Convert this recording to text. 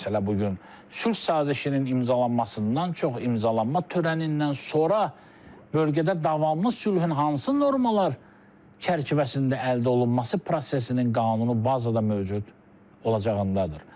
Məsələ bu gün sülh sazişinin imzalanmasından çox imzalama törənindən sonra bölgədə davamlı sülhün hansı normalar çərçivəsində əldə olunması prosesinin qanun bazada mövcud olacağındadır.